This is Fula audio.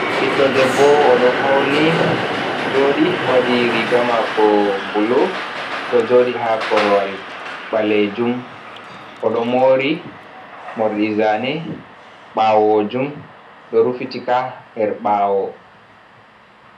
Ɓiɗɗo debbo, oɗo fauni joɗi waɗi rigamako bulu, ɗo joɗi ha korwal ɓalejum, oɗo mori morɗi zane bawojum ɗo rufitika her ɓawo.